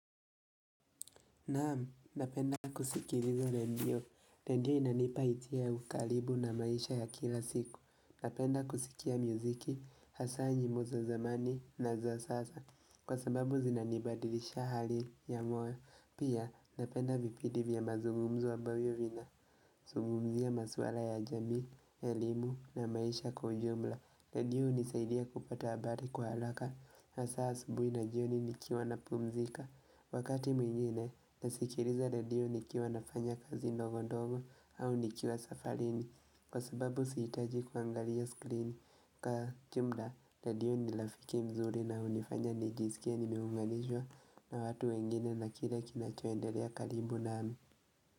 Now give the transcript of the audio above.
Naam, napenda kusikiliza redio, redio inanipa isia ukalibu na maisha ya kila siku Napenda kusikia muziki, hasa nyimbo za zamani na za sasa Kwa sababu zinanibadilisha hali ya moyo Pia napenda vipidi vya mazugumzo ambavyo vina Zugumzia maswala ya jamii, ya elimu na maisha kiujumla redio hunisaidia kupata habari kwa alaka Hasa asubui na jioni nikiwa na pumzika Wakati mwingine nasikiliza redio nikiwa nafanya kazi ndogondogo au nikiwa safarini kwa sababu siitaji kuangalia skrini ka kimuda redio nilafiki mzuri na hunifanya nijisikie nimiunganishwa na watu wengine na kile kinachoendelea karibu nami.